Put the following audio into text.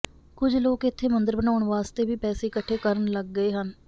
ਕੁਝ ਲੋਕ ਇੱਥੇ ਮੰਦਰ ਬਨਾਉਣ ਵਾਸਤੇ ਵੀ ਪੈਸੇ ਇਕੱਠੇ ਕਰਨ ਲੱਗ ਗਏ ਹਨ